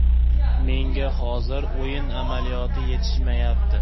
Menga hozir o‘yin amaliyoti yetishmayapti.